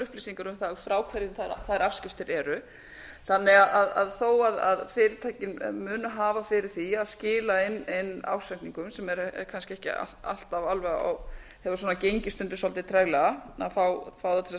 upplýsingar um það frá hverjum þær afskriftir eru þannig að þó að fyrirtækin muni hafa fyrir því að skila inn ársreikningum sem er kannski ekki alltaf alveg á hefur gengið stundum svolítið treglega að fá þá